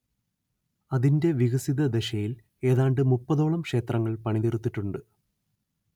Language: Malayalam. അതിന്റെ വികസിതദശയിൽ ഏതാണ്ട് മുപ്പതോളം ക്ഷേത്രങ്ങൾ പണിതീർത്തിട്ടുണ്ട്